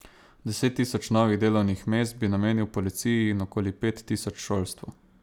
Deset tisoč novih delovnih mest bi namenil policiji in okoli pet tisoč šolstvu.